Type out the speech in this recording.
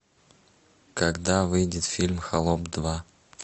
когда выйдет фильм холоп два